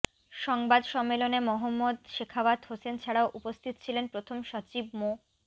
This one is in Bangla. সংবাদ সম্মেলনে মোহম্মদ সেখাওয়াত হোসেন ছাড়াও উপস্থিত ছিলেন প্রথম সচিব মো